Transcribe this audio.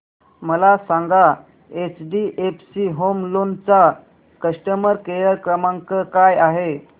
मला सांगा HDFC home loan चा कस्टमर केअर क्रमांक काय आहे